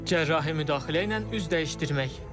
Cərrahi müdaxilə ilə üz dəyişdirmək.